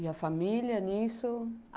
E a família nisso?